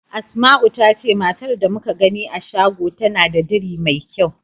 Asma'u ta ce matar da muka gani a shago tana da diri mai kyau.